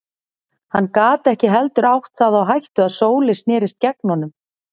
Hann gat ekki heldur átt það á hættu að Sóley snerist gegn honum.